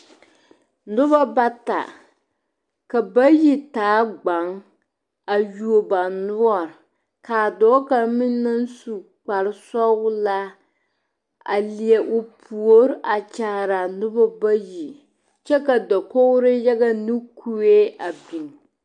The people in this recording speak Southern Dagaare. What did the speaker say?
Noba bata ka bayi taa gbaŋ a yuo ba noɔre ka a dɔɔ kaŋ meŋ naŋ su kparesɔglaa a leɛ o puori a kyaare a noba bayi kyɛ ka dakogri yaga ne kue a biŋ.